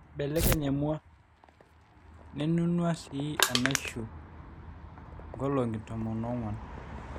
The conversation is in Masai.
iebelekeny emua nenunua sii enaishu nkolong'i tomon oong'wan